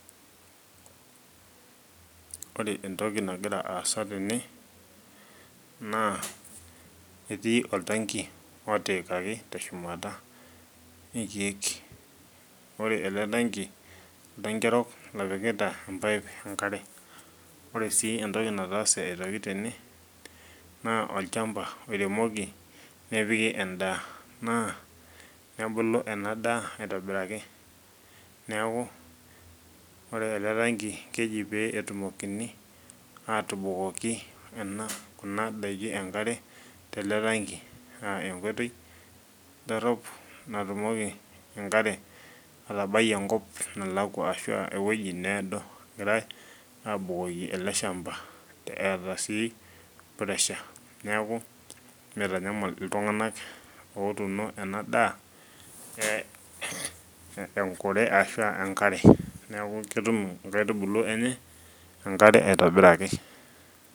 Ore entoki nagira aasa tene naa etii oltanki otiikaki teshumata inkiek. Ore ele tanki , oltanki orok lopikita emapipe enkare , ore sii entoki naatase aitoki tene , naa olchamba oiremoki nepiki endaa naa nebulu ena daa aitobiraki . Neeku ore eletanki keji pee etumokini atubukoki ena, kuna daiki enkare tele tanki aa enkoitoi dorop natumoki enkare atabai enkop nalakwa ashu ewueji needo egirae abukoki ele shamba eeta sii pressure , neeku mitanyal iltunganak otuuno ena daa enkure ashua enkare , niaku ketum inkaitubulu enye enkare aitobiraki.